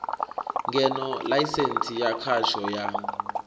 ngeno ḽaisensti ya khasho ya